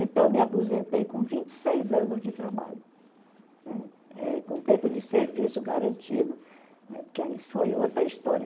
Então, eu me aposentei com vinte e seis anos de trabalho, né, eh com tempo de serviço garantido, porque isso foi outra história.